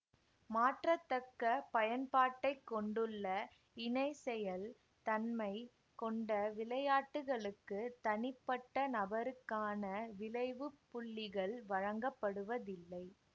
மாற்றத்தக்க பயன்பாட்டைக் கொண்டுள்ள இணைசெயல் தன்மை கொண்ட விளையாட்டுகளுக்கு தனிப்பட்ட நபருக்கான விளைவு புள்ளிகள் வழங்கப்படுவதில்லை